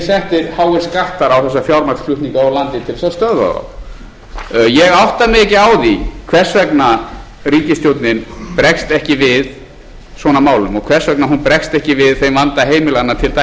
settir háir skattar á þessa fjármagnsflutninga úr landi til þess að stöðva þá ég átta mig ekki á því hvers vegna ríkisstjórnin bregst ekki við svona málum og hvers vegna hún bregst ekki við þeim vanda heimilanna til dæmis